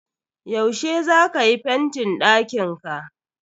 Yaushe za ka yi fentin dakinka?